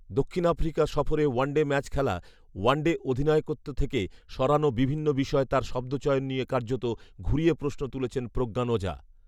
দক্ষিণ আফ্রিকা সফরে ওয়ানডে ম্যাচে খেলা, ওয়ানডে অধিনায়কত্ব থেকে সরানো বিভিন্ন বিষয়ে তার শব্দচয়ন নিয়ে কার্যত ঘুরিয়ে প্রশ্ন তুলেছেন প্রজ্ঞান ওঝা